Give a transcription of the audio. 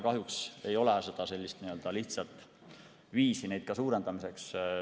Kahjuks ei ole ka lihtsat viisi nende suurendamiseks.